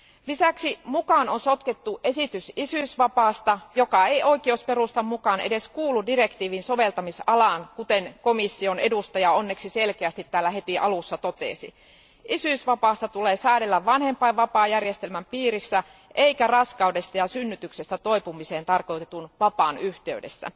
Lisäksi mukaan on sotkettu esitys isyysvapaasta, joka ei oikeusperustan mukaan edes kuulu direktiivin soveltamisalaan, kuten komission edustaja onneksi selkeästi heti alussa totesi. Isyysvapaasta tulee säädellä vanhempainvapaajärjestelmän piirissä eikä raskaudesta ja synnytyksestä toipumiseen tarkoitetun vapaan yhteydessä.